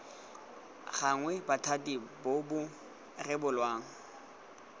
gannwe bothati bo bo rebolang